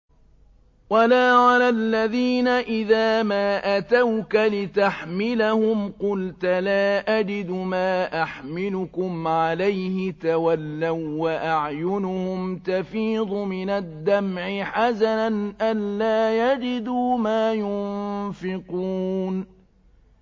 وَلَا عَلَى الَّذِينَ إِذَا مَا أَتَوْكَ لِتَحْمِلَهُمْ قُلْتَ لَا أَجِدُ مَا أَحْمِلُكُمْ عَلَيْهِ تَوَلَّوا وَّأَعْيُنُهُمْ تَفِيضُ مِنَ الدَّمْعِ حَزَنًا أَلَّا يَجِدُوا مَا يُنفِقُونَ